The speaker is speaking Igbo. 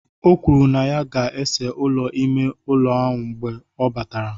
O kwuru na ya ga-ese ụlọ ime ụlọ mgbe ọ batara